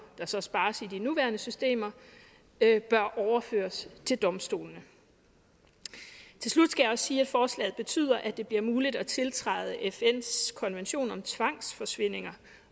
der så spares i de nuværende systemer bør overføres til domstolene til slut skal jeg også sige at forslaget betyder at det bliver muligt at tiltræde fns konvention om tvangsforsvindinger